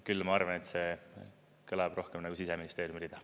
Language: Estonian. Küll, ma arvan, et see kõlab rohkem nagu Siseministeeriumi rida.